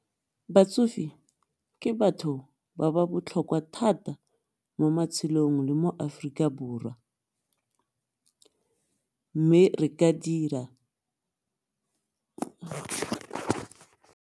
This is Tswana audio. Batsofe ke batho ba ba botlhokwa thata mo matshelong le mo Aforika Borwa mme re ka dira.